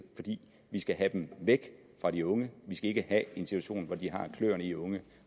fordi vi skal have dem væk fra de unge vi skal ikke have en situation hvor de har kløerne i unge